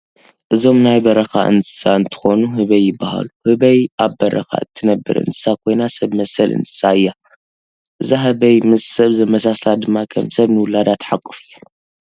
እዞም ናይ በረካ እንስሳ እንትኮኑ ህበይ ይባሃሉ። ህበይ ኣብ በረካ እትነብር እንስሳ ኮይና ሰብ መሰል እንስሳ እያ። እዛ ህበይ ምስ ሰብ ዘማሳስላ ድማ ከም ሰብ ንውለዳ ትሓቁፍ እያ።